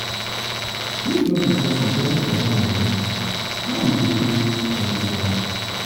if not because we budget dat money how we go pay for um dis um one?